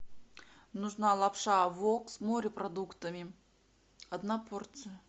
нужна лапша вок с морепродуктами одна порция